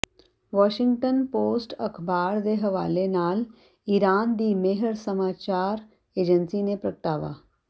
Washington Post ਅਖਬਾਰ ਦੇ ਹਵਾਲੇ ਨਾਲ ਇਰਾਨ ਦੀ ਮੇਹਰ ਸਮਾਚਾਰ ਏਜੰਸੀ ਨੇ ਪ੍ਰਗਟਾਵਾ